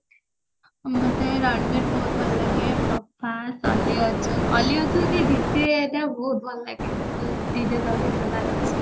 ଅମତେ ରଣବିର ବହୁତ ଭଲ ଲାଗେ ପ୍ରଭାସ ଅଲ୍ଲୀଅର୍ଜୁନ ଅଲ୍ଲୀଅର୍ଜୁନ ବହୁତ ଭଲ ଲାଗେ ଯୋଉ ତାର ଅଛି